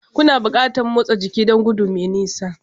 Kuna buƙatar motsa jiki don gudu mai nisa